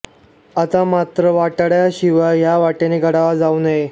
आता मात्र वाटाड्याशिवाय या वाटेने गडावर जाऊ नये